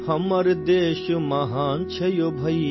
اپنا ملک عظیم ہے بھیا،